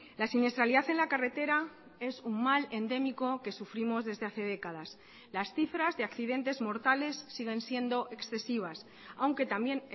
la siniestralidad en la carretera es un mal endémico que sufrimos desde hace décadas las cifras de accidentes mortales siguen siendo excesivas aunque también